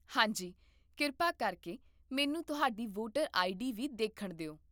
ਹਾਂਜੀ, ਕਿਰਪਾ ਕਰਕੇ ਮੈਨੂੰ ਤੁਹਾਡੀ ਵੋਟਰ ਆਈਡੀ ਵੀ ਦੇਖਣ ਦੇ